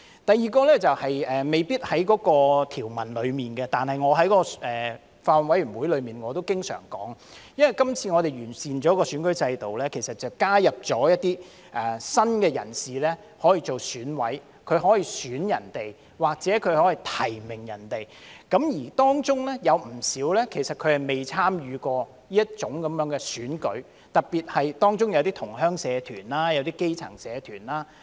第二，未必是關乎條文，但我在法案委員會會議上也經常提出，我們這次完善選舉制度，將加入一些新的人士可以擔任選委，他們可以選他人或提名他人；而當中有不少人其實未參與過這種選舉，特別是同鄉社團、基層社團。